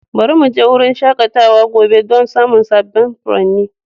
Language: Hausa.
Bari mu je wurin shakatawa gobe don samun sabbin furanni.